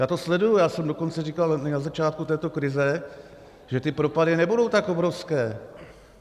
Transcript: Já to sleduji, já jsem dokonce říkal na začátku této krize, že ty propady nebudou tak obrovské.